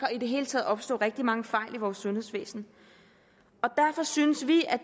i det hele taget opstå rigtig mange fejl i vores sundhedsvæsen derfor synes vi